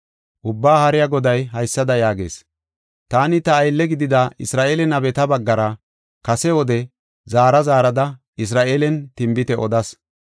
Ubbaa Haariya Goday haysada yaagees: “Taani ta aylle gidida Isra7eele nabeta baggara, kase wode zaara zaarada Isra7eelen tinbite odas.